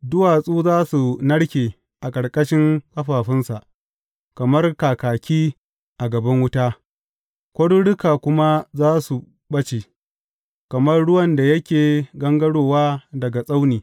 Duwatsu za su narke a ƙarƙashin ƙafafunsa, kamar kaki a gaban wuta, kwaruruka kuma za su ɓace, kamar ruwan da yake gangarowa daga tsauni.